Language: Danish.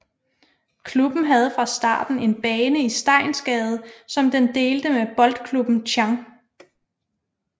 Klubben havde fra starten en bane i Steinsgade som den delte med Boldklubben Chang